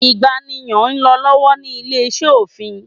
ìgbàniyàn n lọ lọwọlọwọ ni ile-iṣẹ ofin